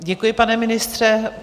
Děkuji, pane ministře.